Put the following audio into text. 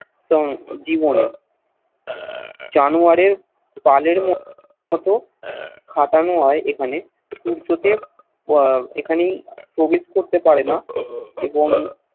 song জীবনে জানোয়ারের পালের মতো খাটানো হয় এখানে সূর্য দেব এখানে প্রবেশ করত পারেনা এবং